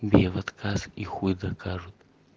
бей в отказ и хуй докажут